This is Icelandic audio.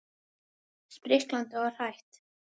Spriklandi og hrætt.